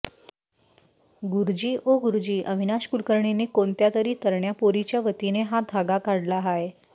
गुर्जी ओ गुर्जी अविनाश कुलकर्णींनी कोन्त्यातरी तरण्या पोरीच्या वतीने हा धागा काढला हाय